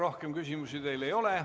Rohkem küsimusi teile ei ole.